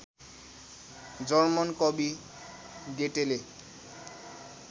German कवि गेटेले